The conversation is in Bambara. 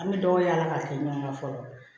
An bɛ dɔ yaala ka tila ɲɔgɔn kan fɔlɔ